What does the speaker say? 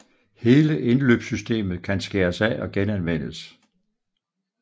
Hele indløbssystemet kan skæres af og genanvendes